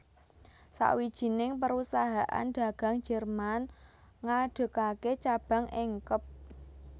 Sawijining perusahaan dagang Jerman ngadegaké cabang ing Kep